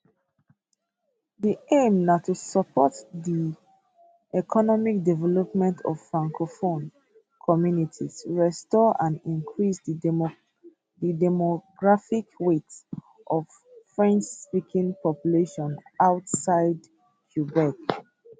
di aim na to support di economic development of francophone communities restore and increase di demographic weight of frenchspeaking populations outside quebec